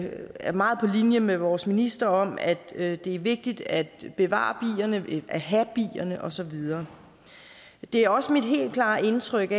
er meget på linje med vores minister om at det er vigtigt at bevare bierne at have bierne og så videre det er også mit helt klare indtryk